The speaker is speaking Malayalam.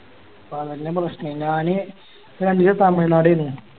തമിഴ് നാട്ടിലും പ്രശ്ന ഞാന് തമിഴ് നാടേനി